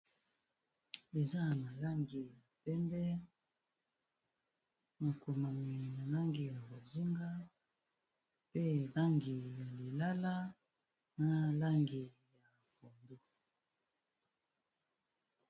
Eza n'a langi ya pembe makomami na langi ya bozinga pe langi ya lilala na langi ya pondu.